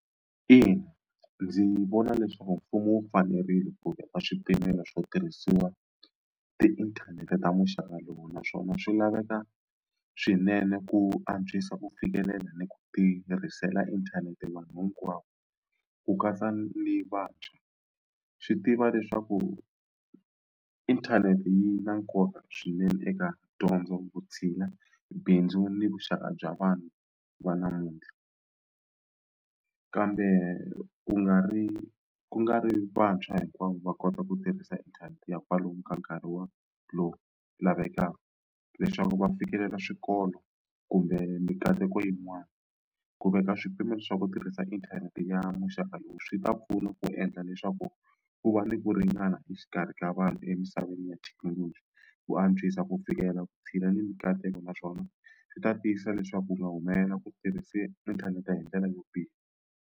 Ina, ndzi vona leswaku mfumo wu fanerile ku veka swipimelo swo tirhisiwa tiinthanete ta muxaka lowu naswona swi laveka swinene ku antswisa ku fikelela ni ku tirhisela inthanete vanhu hinkwavo ku katsa ni vantshwa swi tiva leswaku inthanete yi na nkoka swinene eka dyondzo vutshila bindzu ni vuxaka bya vanhu va namuntlha kambe ku nga ri ku nga ri vantshwa hinkwavo va kota ku tirhisa inthanete ya kwalomu ka nkarhi wa lowu lavekaka leswaku va fikelela swikolo kumbe mikateko yin'wana ku veka swipimelo swa ku tirhisa inthanete ya muxaka lowu swi ta pfuna ku endla leswaku ku va ni ku ringana exikarhi ka vanhu emisaveni ya thekinoloji ku antswisa ku fikela vutshila ni mikateko naswona swi ta tiyisisa leswaku u nga humelela ku tirhise inthanete hindlela yo biha.